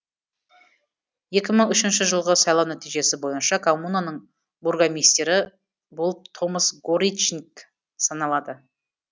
екі мың үшінші жылғы сайлау нәтижесі бойынша коммунаның бургомистрі болып томас горичниг санеалады